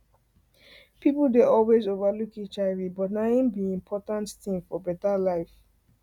people dey always over look hivbut na hin be important hin be important thing for better life